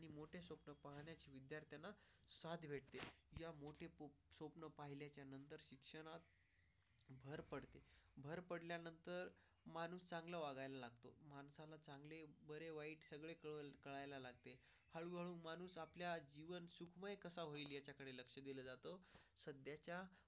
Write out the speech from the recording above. भर पडल्यानंतर माणूस चांगलं बघायला लागतो बरे वाईट सगळे करायला लागते. हळूहळू माणूस आपल्या जीवन सुखमय कसा होईल याकडे लक्ष दिले जाते सध्याच्या.